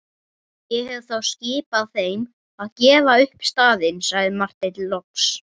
Ég hef þá skipað þeim að gefa upp staðinn, sagði Marteinn loks.